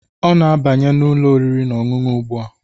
Ọ na-abanye n'ụlọ oriri na ọṅụṅụ ugbua